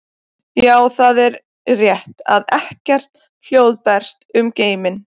Já, það er rétt að ekkert hljóð berst um geiminn.